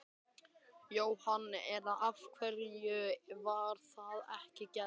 Jóhann: En af hverju var það ekki gert?